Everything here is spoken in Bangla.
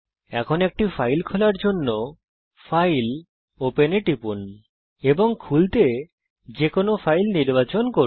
এখন একটি ফাইলকে খোলার জন্য ফাইল open এ টিপুন এবং খোলার জন্য যে কোনো ফাইল নির্বাচন করুন